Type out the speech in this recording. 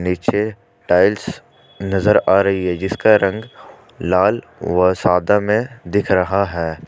पीछे टाइल्स नजर आ रही है जिसका रंग लाल व सादा में दिख रहा है ।